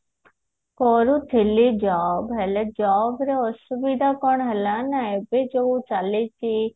କରୁଥିଲି job ହେଲେ job ର ଅସୁବିଧା କଣ ହେଲା ନା ଏବେ ଯୋଉ ଚାଲିଛି